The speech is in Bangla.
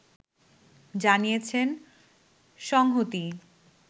জানিয়েছেন সংহতি